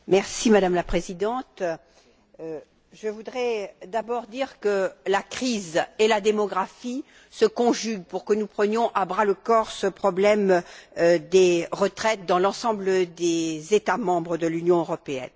Madame la Présidente, je voudrais d'abord dire que la crise et la démographie se conjuguent pour que nous prenions à bras le corps ce problème des retraites dans l'ensemble des États membres de l'Union européenne.